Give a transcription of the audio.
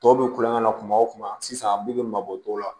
Tɔw bɛ kulonkɛ na kuma o kuma sisan an bɛɛ bɛ mabɔ dɔw la